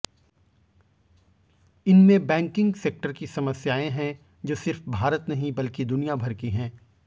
इनमें banking sector की समस्याएं हैं जो सिर्फ भारत नहीं बल्कि दुनियाभर की हैं